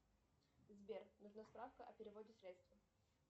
сбер нужна справка о переводе средств